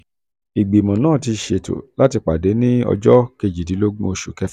ìgbìmọ̀ náà ti ṣètò láti pàdé ní ọjọ́ kejìdínlógún oṣù kẹfà.